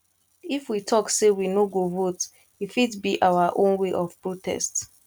if we talk say we no go vote e fit be our own way of protest